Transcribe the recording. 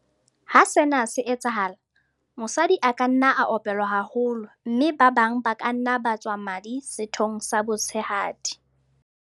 Ha sena se etsahala, mosadi a ka nna a opelwa haholo mme ba bang ba ka nna ba tswa madi sethong sa botshehadi.